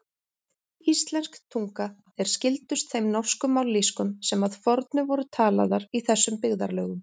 Íslensk tunga er skyldust þeim norsku mállýskum sem að fornu voru talaðar í þessum byggðarlögum.